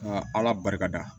Nka ala barika